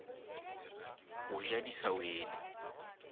go ja di sa wele